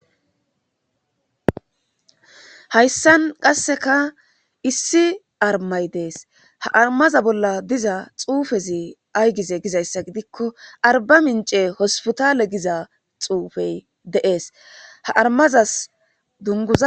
hayssan qasseka issi armay dees ha armaza bolla diza xuufezi aygize gizayssa gidikko arba mince hospitaale giza xuufey deees ha armazas dunuz